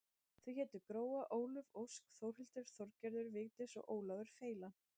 Þau hétu Gróa, Álöf, Ósk, Þórhildur, Þorgerður, Vigdís og Ólafur feilan.